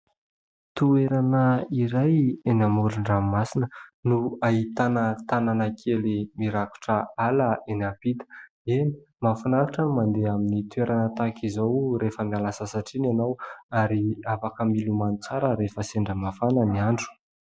Toerana iray eny amoron-dranomasina no ahitana tanàna kely mirakotra ala eny ampita. Eny mahafinaritra ny mandeha amin'ny toerana tahaka izao rehefa miala sasatra iny ianao ary afaka milomano tsara rehefa sendra mafana ny andro.